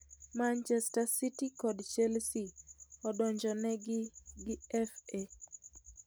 Manchester City kod Chelsea odonjonegi gi FA